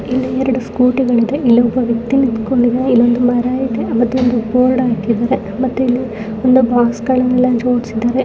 ಇಲ್ಲಿ ಎರಡು ಸ್ಕೂಟಿ ಗಳಿದೆ ಇಲ್ಲಿ ಒಬ್ಬ ವ್ಯಕ್ತಿ ನಿಂತ್ಕೊಂಡಿದಾನೆ ಇಲ್ಲಿ ಒಂದು ಮರ ಇದೆ ಮತ್ತೆ ಒಂದು ಬೋರ್ಡ್ ಹಾಕಿದಾರೆ ಮತ್ತೆ ಒಂದು ಬಾಕ್ಸ್ಗ ಳನೆಲ್ಲ ಜೋಡಿಸಿದಾರೆ.